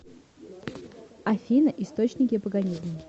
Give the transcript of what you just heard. афина источники паганизм